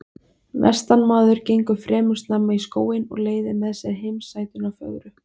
Vestanmaður gengur fremur snemma í skóginn og leiðir með sér heimasætuna fögru.